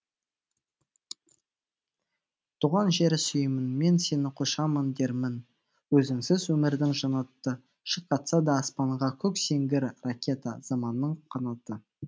туған жер сүйемінмен сені құшамын дермін өзіңсің өмірдің жаннаты шырқатса да аспанға көк сеңгірракета заманның қанаты